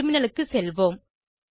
டெர்மினலுக்கு செல்வோம்